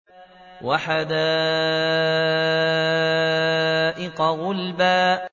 وَحَدَائِقَ غُلْبًا